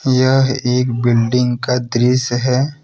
यह एक बिल्डिंग का दृश्य है।